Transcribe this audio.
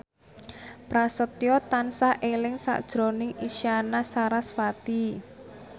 Prasetyo tansah eling sakjroning Isyana Sarasvati